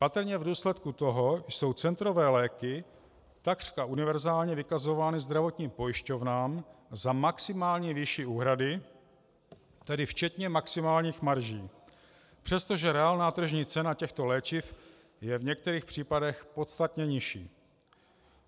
Patrně v důsledku toho jsou centrové léky takřka univerzálně vykazovány zdravotním pojišťovnám za maximálně vyšší úhrady, tedy včetně maximálních marží, přestože reálná tržní cena těchto léčiv je v některých případech podstatně nižší.